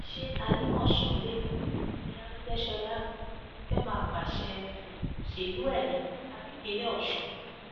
ṣe àlìmọso lẹkọọ ni àrègbèsọlá um ti fẹẹ máa pàṣẹ um òṣèlú ẹ ni àbí ìpínlẹ ọsùn